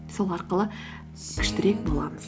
сол арқылы күштірек боламыз